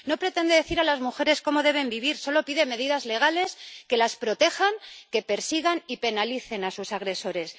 No pretende decir a las mujeres cómo deben vivir, solo pide medidas legales que las protejan y que persigan y penalicen a sus agresores.